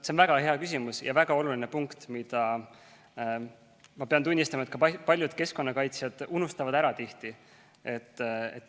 See on väga hea küsimus ja väga oluline punkt, mille, ma pean tunnistama, ka paljud keskkonnakaitsjad tihti ära unustavad.